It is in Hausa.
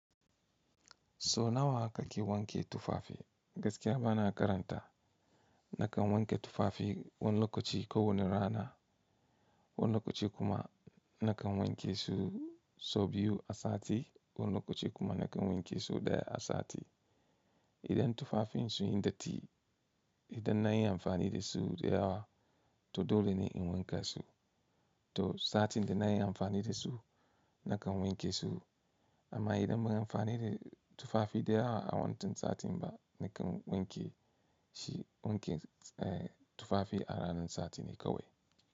So nawa kake wanke tufafi? Gaskiya bana karanta. Nakan wanke tufafi wani lokaci kowane rana, wani lokaci kuma nakan wanke su sau biyu a sati, wani lokaci kuma nakan wanke su ɗaya a sati. Idan tufafin sun yi datti, idan na yi amfani da su da yawa, to dole ne in wanke su. To, satin da na yi amfani da su, nakan wanke su. Amma idan ban yi amfani da tufafi da yawa a wantan satin ba, nakan wanke shi wanke, eh tufafi a ranar sati ne kawai.